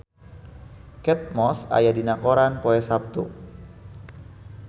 Kate Moss aya dina koran poe Saptu